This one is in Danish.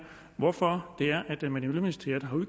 hvorfor miljøministeriet har